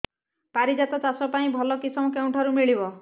ପାରିଜାତ ଚାଷ କରିବା ପାଇଁ ଭଲ କିଶମ କେଉଁଠାରୁ ମିଳିବ